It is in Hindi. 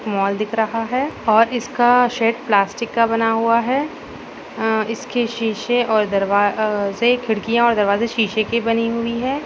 मॉल दिख रहा है और इसका शेड प्लास्टिक का बना हुआ है। अं इसके शीशे और दरवा-अ-जे खिड़कियां और दरवाजें शीशे के बनी हुई है।